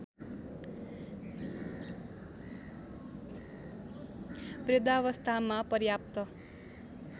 वृद्धावस्थामा पर्याप्त